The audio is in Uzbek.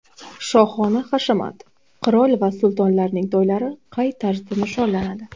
Shohona hashamat: Qirol va sultonlarning to‘ylari qay tarzda nishonlanadi?